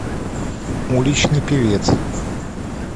уличный певец